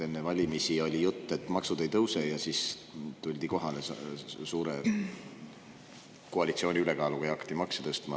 Enne valimisi oli jutt, et maksud ei tõuse, ja siis tuldi kohale koalitsiooni suure ülekaaluga ja hakati makse tõstma.